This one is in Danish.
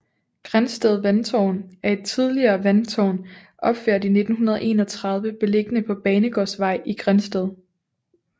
Grindsted Vandtårn er et tidligere vandtårn opført i 1931 beliggende på Banegårdsvej i Grindsted